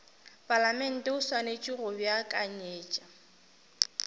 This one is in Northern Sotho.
palamente o swanetše go beakanyetša